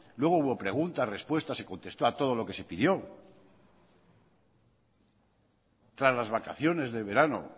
luego hubo preguntas respuestas se contestó a todo lo que se pidió tras las vacaciones de verano